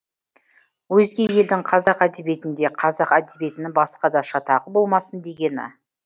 өзге елдің қазақ әдебиетінде қазақ әдебиетінің басқада шатағы болмасын дегені